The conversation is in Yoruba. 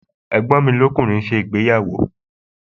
Ẹ̀gbọ́n mi lọ́kùnrin ń ṣe ìgbéyàwó